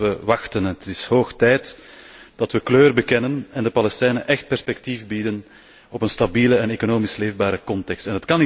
Het wordt hoog tijd dat we kleur bekennen en de Palestijnen echt perspectief bieden op een stabiele en economisch leefbare context.